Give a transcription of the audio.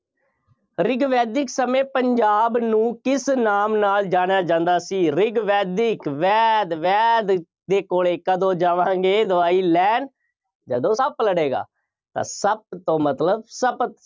ਰਿਗ ਵੈਦਿਕ ਸਮੇਂ ਪੰਜਾਬ ਨੂੰ ਕਿਸ ਨਾਮ ਨਾਲ ਜਾਣਿਆ ਜਾਂਦਾ ਸੀ। ਰਿਗ ਵੈਦਿਕ, ਵੈਦ, ਵੈਦ ਦੇ ਕੋਲੇਂ ਕਦੋਂ ਜਾਵਾਂਗੇ ਦਵਾਈ ਲੈਣ। ਜਦੋਂ ਸੱਪ ਲੜੇਗਾ। ਤਾਂ ਸੱਪ ਤੋਂ ਮਤਲਬ ਸ਼ਪਤ